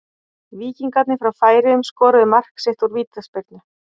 Víkingarnir frá Færeyjum skoruðu mark sitt úr vítaspyrnu.